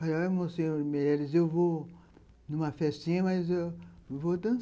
Falei, olha, Monsenhor Meirelles, eu vou numa festinha, mas eu vou